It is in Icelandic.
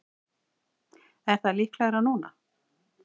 Er það líklegra núna?